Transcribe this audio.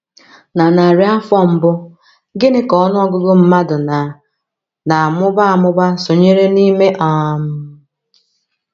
Na narị afọ mbụ, gịnị ka ọnụ ọgụgụ mmadụ na na - amụba amụba sonyere n’ime um?